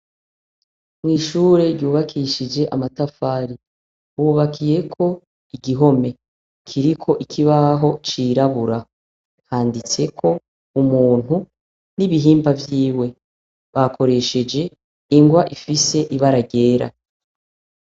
Mw'ishure ryubakishije amatafari. Hubakiyeko igihome. Kiriko ikibaho cirabura. Handitseko umuntu n'ibihimba vyiwe. Bakoresheje ingwa ifise ibara ryera.